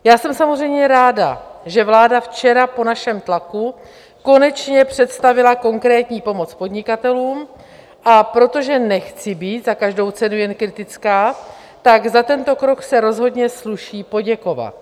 Já jsem samozřejmě ráda, že vláda včera po našem tlaku konečně představila konkrétní pomoc podnikatelům, a protože nechci být za každou cenu jen kritická, tak za tento krok se rozhodně sluší poděkovat.